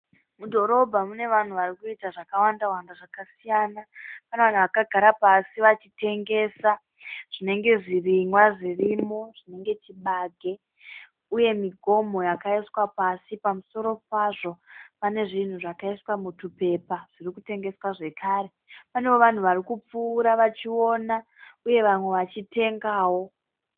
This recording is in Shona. Mudhorobha mune vanhu varikuita zvakawanda wanda zvakasiyana. Pane vanhu vakagara pasi vachitengesa zvinenge zvirimwa zvirimo zvinenge chigabe uye migomho yakaiswa pasi. Pamusoro pazvo pane zvinhu zvakaiswa mutupepa zvirikutengeswa zvekare. Panewo vanhu varikupfuura vachiona uye vamwe vachitengawo.